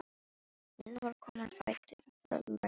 Milla var komin á fætur, föl og ræfilsleg.